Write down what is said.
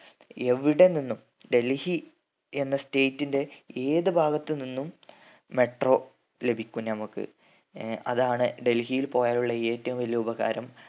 എവിടെ നിന്നും ഡൽഹി എന്ന state ന്റെ ഏത് ഭാഗത്ത് നിന്നും metro ലഭിക്കും നമ്മക് ഏർ അതാണ് ഡൽഹിയിൽ പോയാലുള്ള ഏറ്റവും വലിയ ഉപകാരം